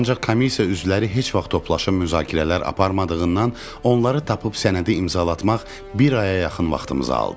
Ancaq komissiya üzvləri heç vaxt toplaşıb müzakirələr aparmadığından onları tapıb sənədi imzalatmaq bir aya yaxın vaxtımızı aldı.